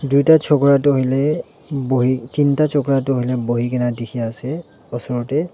Tuita chogra tu hoile bohe tinta chogra tu hoile bohe kena dekhe ase usor tey.